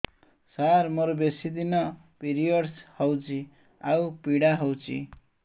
ସାର ମୋର ବେଶୀ ଦିନ ପିରୀଅଡ଼ସ ହଉଚି ଆଉ ପୀଡା ହଉଚି